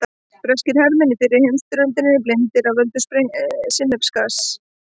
Breskir hermenn í fyrri heimsstyrjöldinni blindaðir af völdum sinnepsgass.